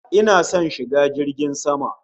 Ina son shiga jirgin sama